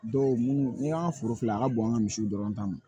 Dɔw munnu ni an ka foro filɛ a ka bon an ka misiw dɔrɔn ta ma